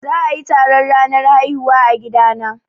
Za a yi taron ranar haihuwa a gida na